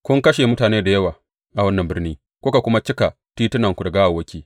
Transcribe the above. Kun kashe mutane da yawa a wannan birni kuka kuma cika titunanta da gawawwaki.